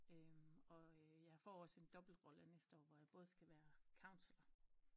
Og jeg får også en dobbelt rolle næste år hvor jeg både skal være kansler